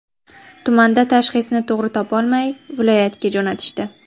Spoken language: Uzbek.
Tumanda tashxisni to‘g‘ri topolmay, viloyatga jo‘natishdi.